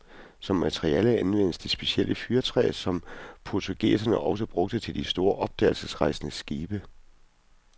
Som materiale anvendes det specielle fyrretræ, som portugiserne også brugte til de store opdagelsesrejsendes skibe.